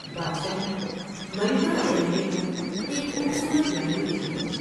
بادشاہ نے ملکہ کے رہنے کو ایک خوب صورت محل دے دیا ۔